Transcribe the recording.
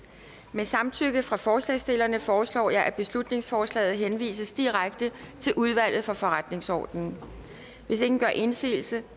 med samtykke fra forslagsstillerne foreslår jeg at beslutningsforslaget henvises direkte til udvalget for forretningsordenen hvis ingen gør indsigelse